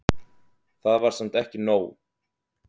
Það var samt ekki nóg.